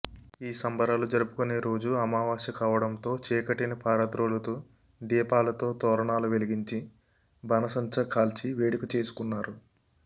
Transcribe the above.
ఈ సంబరాలు జరుపుకునే రోజు అమవాస్య కావడంతో చీకటిని పారద్రోలుతూ దీపాలతో తోరణాలు వెలిగించి బాణాసంచా కాల్చి వేడుక చేసుకున్నారు